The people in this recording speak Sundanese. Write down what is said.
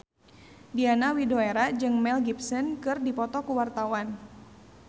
Diana Widoera jeung Mel Gibson keur dipoto ku wartawan